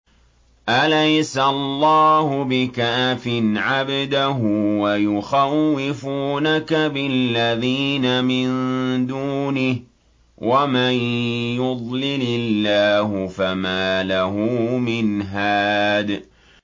أَلَيْسَ اللَّهُ بِكَافٍ عَبْدَهُ ۖ وَيُخَوِّفُونَكَ بِالَّذِينَ مِن دُونِهِ ۚ وَمَن يُضْلِلِ اللَّهُ فَمَا لَهُ مِنْ هَادٍ